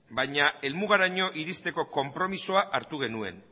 baina helmugaraino iristeko konpromisoa hartu genuen